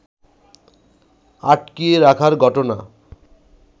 আটকিয়ে রাখার ঘটনা